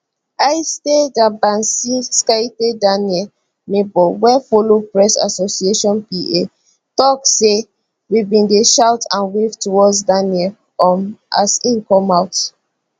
aiste dabasinskaite daniel neighbour wey follow press association pa tok say we bin dey shout and wave towards daniel um as e come out